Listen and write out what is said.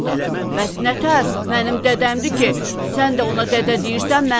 Bəs nətər mənim dədəmdir ki, sən də ona dədə deyirsən, mən də?”